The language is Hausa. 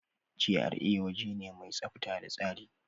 GRA waje ne mai tsafta da tsari.